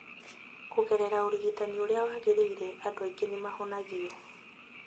Kũgerera ũrigitani ũrĩa wagĩrĩire, andũ aingĩ nĩ mahonagio